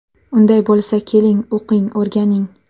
Unday bo‘lsa, keling, o‘qing, o‘rganing!